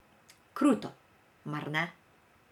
Kruto, mar ne?